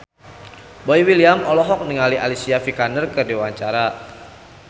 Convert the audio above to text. Boy William olohok ningali Alicia Vikander keur diwawancara